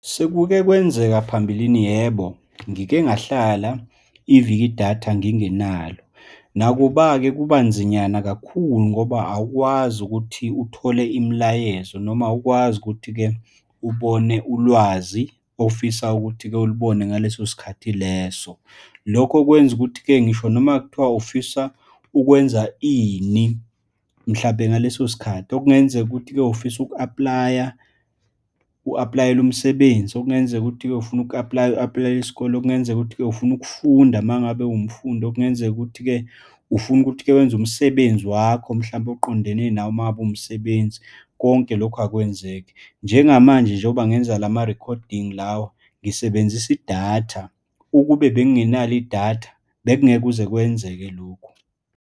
Sekukekwenzeka phambilini, yebo, ngike ngahlala iviki idatha ngingenalo. Nakuba-ke kuba nzinyana kakhulu ngoba awukwazi ukuthi uthole imilayezo, noma ukwazi ukuthi-ke ubone ulwazi ofisa ukuthi-ke ulibone ngaleso sikhathi leso. Lokho kwenza ukuthi-ke, ngisho noma kuthiwa ufisa ukwenza ini, mhlampe ngaleso sikhathi. Okungenzeka ukuthi-ke ufisa uku-apply-a, uku-apply-ela umsebenzi, okungenzeka ukuthi-ke ufuna uku-apply-a, uku-apply-ela isikole, okungenzeka ukuthi-ke ufuna ukufunda uma ngabe uwumfundi, okungenzeka ukuthi-ke ufuna ukuthi-ke wenza umsebenzi wakho, mhlampe oqondene nawe uma ngabe uwumsebenzi. Konke lokhu akwenzeki njengamanje, njengoba ngenza lama-recording lawa, ngisebenzisa idatha. Ukube bengenalo idatha bekungeke kuze kwenzeke lokhu.